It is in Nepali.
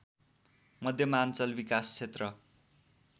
मध्यमाञ्चल विकासक्षेत्र